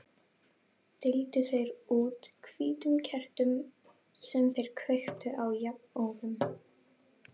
Deildu þeir út hvítum kertum sem þeir kveiktu á jafnóðum.